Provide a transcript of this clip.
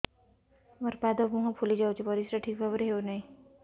ମୋର ପାଦ ମୁହଁ ଫୁଲି ଯାଉଛି ପରିସ୍ରା ଠିକ୍ ଭାବରେ ହେଉନାହିଁ